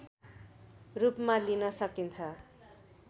रूपमा लिन सकिन्छ